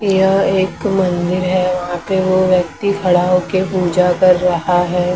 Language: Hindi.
यह एक मंदिर है वो व्यक्ति खड़ा हो के पूजा कर रहा है।